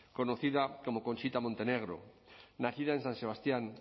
conocida como conchita montenegro nacida en san sebastián